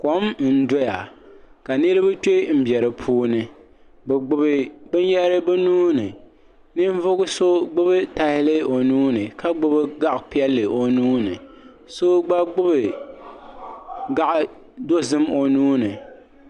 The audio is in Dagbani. Kom n doya ka niriba kpembe dipuuni bɛ gbibi binyahiri bɛ nuuni ninvuɣu so gbibi tahali o nuuni ka gbibi gaɣa'piɛlli o nuuni so gba gbibi gaɣa'dozim o nuuni.